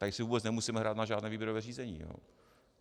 Tady si vůbec nemusíme hrát na žádné výběrové řízení.